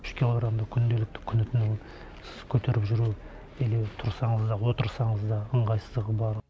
үш килограммды күнделікті күні түні көтеріп жүру или тұрсаңыз да отырсаңыз да ыңғайсыздығы бар